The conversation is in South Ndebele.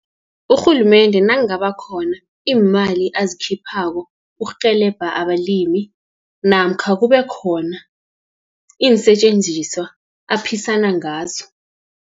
Urhulumende nangaba khona iimali azikhiphako, ukurhelebha abalimi, namkha kube khona iinsetjenziswa aphisana ngazo.